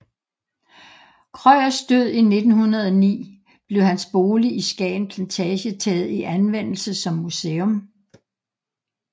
Krøyers død i 1909 blev hans bolig i Skagen Plantage taget i anvendelse som museum